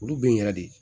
Olu be in yɛrɛ de